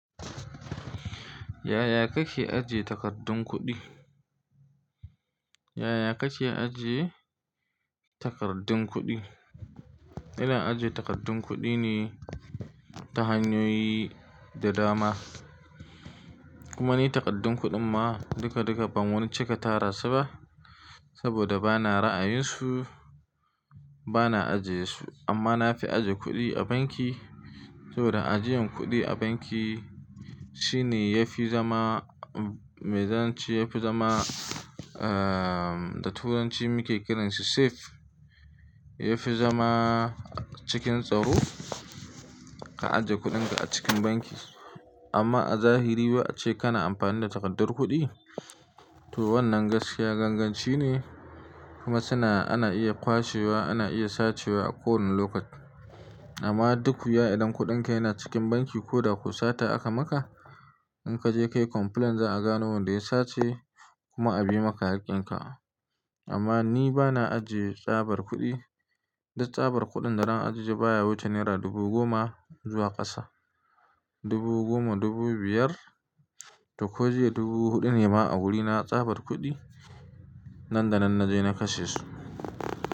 Yaya kake ajiye takardun kuɗi? Yaya kake ajiye takardun kuɗi? Ina ajiye takardun kuɗi ne ta hanyoyi da dama. Kuma ni takardun kuɗin ma duka duka ban wani cika tara su ba saboda bana ra'ayinsu, bana ajiye su amma na fi ajiye kuɗi a banki saboda ajiyan kuɗi a banki shine yafi zama, mezanci yafi zama, ahhh da turanci muke kiransa safe. Yafi zama cikin tsaro ka ajiye kuɗinka a cikin banki. Amma a zahiri ba'ace kana amfani da takardar kuɗi to wannan gaskiya ganganci ne kuma suna ana iya kwashewa, ana iya sacewa a kowane lokaci. Amma dukkuya idan kuɗinka yana cikin banki ko da ku sata aka maka in kaje kayi complaint za'a gano wanda ya sace kuma a bi maka hakkin ka. Amma ni bana ajiye tsabar kuɗi, duk tsabar kuɗin da zan ajiye baya wuce naira dubu goma zuwa ƙasa. Dubu goma, dubu biyar, to ko jiya dubu huɗu ne ma a wurina tsabar kuɗi nan da nan naje na kashe su.